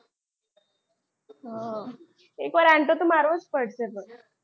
એકવાર આટો તો મારવો જ પડશે પણ.